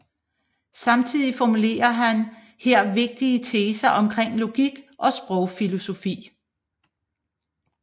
Samtidigt formulerer han her vigtige teser omkring logik og sprogfilosofi